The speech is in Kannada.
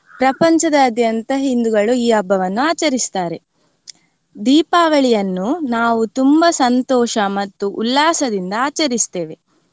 ಪ್ರಪಂಚದಾದ್ಯಂತ ಹಿಂದುಗಳು ಈ ಹಬ್ಬವನ್ನು ಆಚರಿಸ್ತಾರೆ. ದೀಪಾವಳಿಯನ್ನು ನಾವು ತುಂಬಾ ಸಂತೋಷ ಮತ್ತು ಉಲ್ಲಾಸದಿಂದ ಆಚರಿಸ್ತೇವೆ.